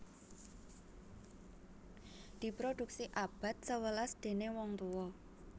Diproduksi abad sewelas déning wong tuwa